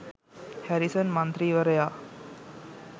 Harrison මන්ත්‍රීවරයා